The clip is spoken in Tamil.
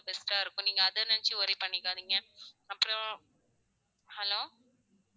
Best ஆ இருக்கும் நீங்க அத நெனச்சி worry பண்ணிக்காதீங்க அப்புறம் hello